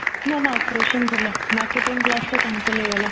ନା ନା operation ଥିଲା marketing class ଟା cancel ହେଇଗଲା